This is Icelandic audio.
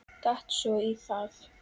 Datt svo í það.